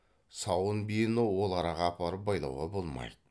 сауын биені ол араға апарып байлауға болмайды